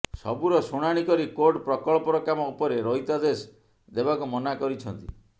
ସବୁର ଶୁଣାଣି କରି କୋର୍ଟ ପ୍ରକଳ୍ପର କାମ ଉପରେ ରହିତାଦେଶ ଦେବାକୁ ମନା କରିଛନ୍ତି